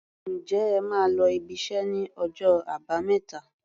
Ǹjẹ́ ẹ máa lọ ibiṣẹ́ ní ọjọ́ Àbámẹ́ta?